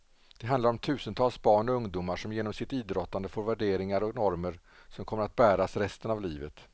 Det handlar om tusentals barn och ungdomar som genom sitt idrottande får värderingar och normer som kommer att bäras resten av livet.